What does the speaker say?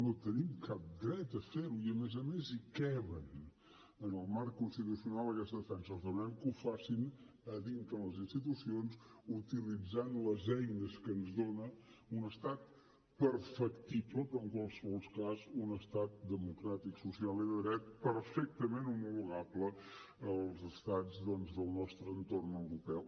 no tenim cap dret a fer ho i a més a més hi cap en el marc constitucional aquesta defensa els demanem que ho facin a dintre les institucions utilitzant les eines que ens dona un estat perfectible però en qualsevol cas un estat democràtic social i de dret perfectament homologable als estats doncs del nostre entorn europeu